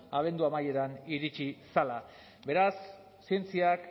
abendu amaieran iritsi zela beraz zientziak